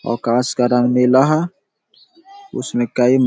ओकाश का रंग नीला है उसमे कई --